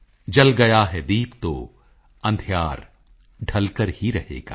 ਜਲ ਗਿਆ ਹੈ ਦੀਪ ਤੋ ਅੰਧਿਯਾਰ ਢਲ ਕਰ ਹੀ ਰਹੇਗਾ